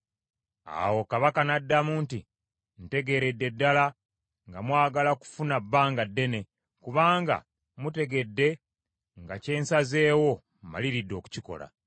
Awo kabaka n’addamu nti, “Ntegeeredde ddala nga mwagala kufuna bbanga ddene, kubanga mutegedde nga kye nsazeewo mmaliridde okukikola,